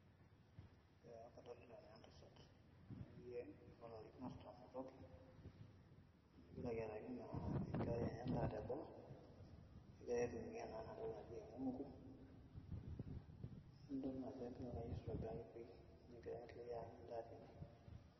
ee kadolita naa entasat akeyie oolarin artam otoki nagira ayiaraki naa enkerai enye endaa teboo egira aitumia naa ena toki naji enyungu nidol naa ajo kegira ake ayierr aitobiraki pii negira enkerai aanyu endaa tine.